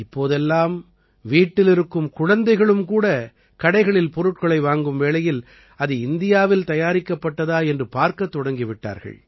இப்போதெல்லாம் வீட்டிலிருக்கும் குழந்தைகளும் கூட கடைகளில் பொருட்களை வாங்கும் வேளையில் அது இந்தியாவில் தயாரிக்கப்பட்டதா என்று பார்க்கத் தொடங்கி விட்டார்கள்